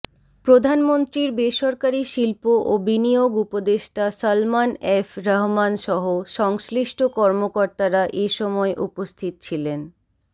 প্রধানমন্ত্রীর বেসরকারি শিল্প ও বিনিয়োগ উপদেষ্টা সালমান এফ রহমানসহ সংশ্লিষ্ট কর্মকর্তারা এ সময় উপস্থিত ছিলেন